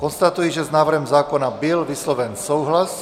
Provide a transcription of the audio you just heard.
Konstatuji, že s návrhem zákona byl vysloven souhlas.